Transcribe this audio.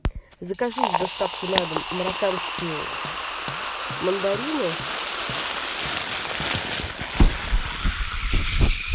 закажи с доставкой на дом марокканские мандарины